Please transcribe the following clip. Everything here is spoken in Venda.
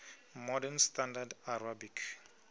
modern standard arabic